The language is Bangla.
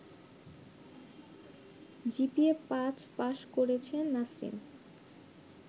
জিপিএ-৫ পাস করেছে নাছরিন